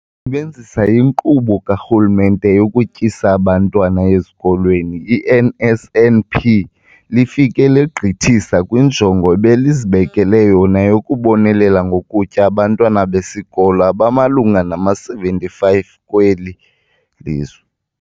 Sebenzisa iNkqubo kaRhulumente yokuTyisa Abantwana Ezikolweni, i-NSNP, lifike legqithisa kwinjongo ebelizibekele yona yokubonelela ngokutya abantwana besikolo abamalunga nama-75 kweli lizwe.